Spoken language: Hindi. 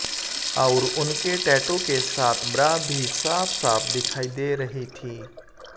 और उनके टैटू के साथ ब्रा भी साफ साफ दिखाई दे रही थी